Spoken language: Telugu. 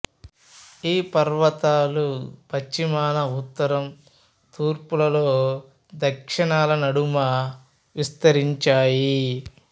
ఈ పర్వతాలు పశ్చిమాన ఉత్తరం తూర్పుల్లో దక్షిణాన ల నడుమ విస్తరించాయి